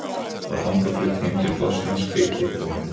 Var þangað flutt heim til Þorsteins hveiti og hunang